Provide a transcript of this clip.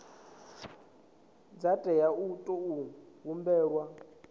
dza tea u tou humbelwa